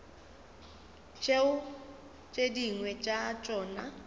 tšeo tše dingwe tša tšona